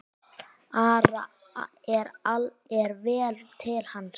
Ara er vel til hans.